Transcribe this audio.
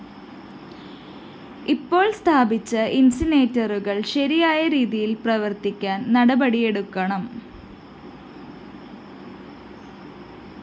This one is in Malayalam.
ഇപ്പോള്‍ സ്ഥാപിച്ച ഇന്‍സിനേറ്ററുകള്‍ ശരിയായ രീതിയില്‍ പ്രവര്‍ത്തിക്കാന്‍ നടപടിയെടുക്കണം